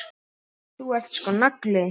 Þú ert sko nagli.